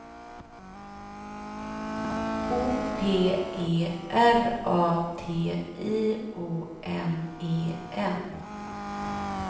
O P E R A T I O N E N